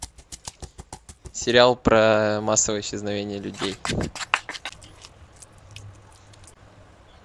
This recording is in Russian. сериал про массовое исчезновение людей